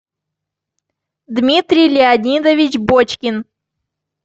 дмитрий леонидович бочкин